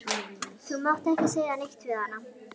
Þú mátt ekki segja neitt við hana.